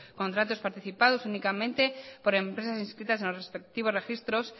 contratos participados únicamente por empresas inscritas en los respectivos registros